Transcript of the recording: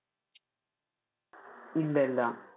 ഇല്ല ഇല്ല.